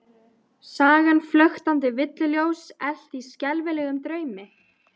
Sagan flöktandi villuljós elt í skelfilegum draumi?